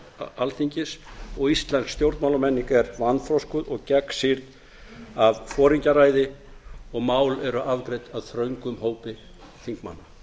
rannsóknarnefndar alþingis og íslensk stjórnmálamenning er vanþroskuð og gegnsýrð af foringjaræði og mál eru afgreidd af þröngum hópi þingmanna